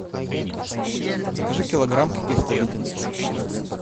закажи килограмм каких то леденцов